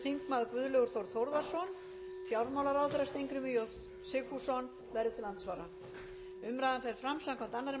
þingmaður guðlaugur þór þórðarson og fjármálaráðherra steingrímur j sigfússon verður til andsvara umræðan fer fram samkvæmt annarri